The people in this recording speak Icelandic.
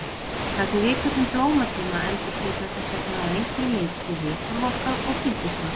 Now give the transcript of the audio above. Það sem við köllum blómatíma endurspeglar þess vegna að einhverju leyti viðhorf okkar og gildismat.